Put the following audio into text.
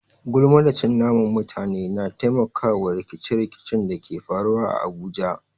Gulma da cin naman mutane na taimaka wa rikice-rikicen da ke faruwa a Abuja.